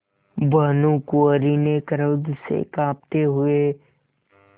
भानुकुँवरि ने क्रोध से कॉँपते हुए